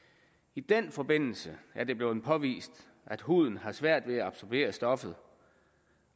i den forbindelse er det blevet påvist at huden har svært ved at absorbere stoffet